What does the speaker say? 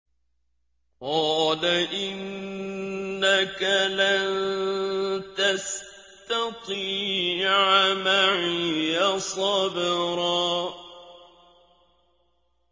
قَالَ إِنَّكَ لَن تَسْتَطِيعَ مَعِيَ صَبْرًا